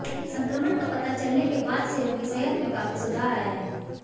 संक्रमण का पता चलने के बाद से उनकी सेहत में काफी सुधार आया है